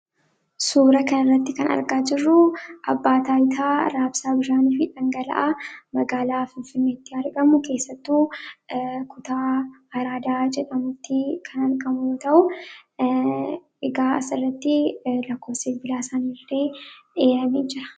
Suura kana irratti kan argaa jirruu abbaa taayitaa raabsaa bishaanii fi dhangala'aa magaalaa Finfinneetti argamu keessattuu kutaa araadaa jedhamutti kan argamu ta'uu egaa asirriitti lakkoobsa bilbila sanillee eeramee jira.